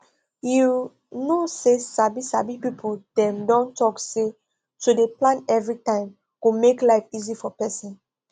you know say sabi sabi people dem don talk say to dey plan everytime go make life easy for person